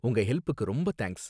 உங்க ஹெல்ப்புக்கு ரொம்ப தேங்க்ஸ்.